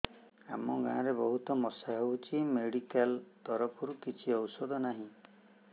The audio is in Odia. ଆମ ଗାଁ ରେ ବହୁତ ମଶା ହଉଚି ମେଡିକାଲ ତରଫରୁ କିଛି ଔଷଧ ନାହିଁ